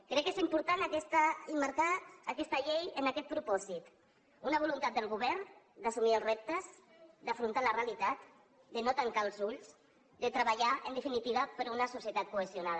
crec que és important emmarcar aquesta llei en aquest propòsit una voluntat del govern d’assumir els reptes d’afrontar la realitat de no tancar els ulls de treballar en definitiva per una societat cohesionada